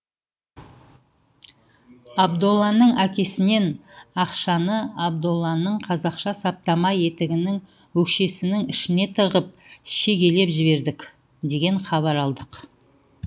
абдолланың әкесінен ақшаны абдолланың қазақша саптама етігінің өкшесінің ішіне тығып шегелеп жібердік деген хабар алдық